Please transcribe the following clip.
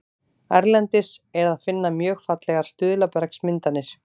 Erlendis er að finna mjög fallegar stuðlabergsmyndanir.